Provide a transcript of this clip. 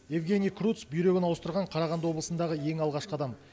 евгений курц бүйрегін ауыстырған қарағанды облысындағы ең алғашқы адам